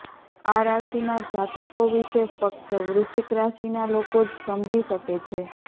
આ રાશિના જાતકો વિશે ફક્ત વૃશ્વિક રાશિના લોકો જ સમજી શકે છે